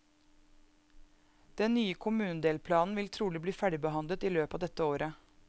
Den nye kommunedelplanen vil trolig bli ferdigbehandlet i løpet av dette året.